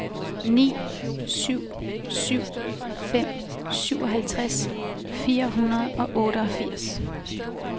ni syv syv fem syvoghalvtreds fire hundrede og otteogfirs